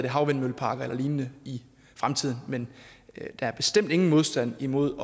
havvindmølleparker og lignende i fremtiden men der er bestemt ingen modstand imod